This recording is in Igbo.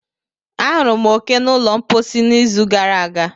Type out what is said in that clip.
Ahụrụ m oke n'ụlọ mposi n'izu gara aga.